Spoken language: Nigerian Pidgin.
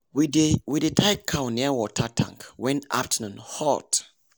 we dey we dey tie cow near water tank when afternoon hot.